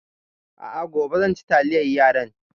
A a, gobe zan ci taliyar yaran.